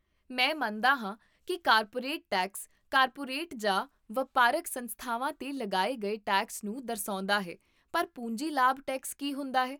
ਮੈਂ ਮੰਨਦਾ ਹਾਂ ਕੀ ਕਾਰਪੋਰੇਟ ਟੈਕਸ ਕਾਰਪੋਰੇਟ ਜਾਂ ਵਪਾਰਕ ਸੰਸਥਾਵਾਂ 'ਤੇ ਲਗਾਏ ਗਏ ਟੈਕਸ ਨੂੰ ਦਰਸਾਉਂਦਾ ਹੈ ਪਰ ਪੂੰਜੀ ਲਾਭ ਟੈਕਸ ਕੀ ਹੁੰਦਾ ਹੈ?